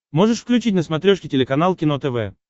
можешь включить на смотрешке телеканал кино тв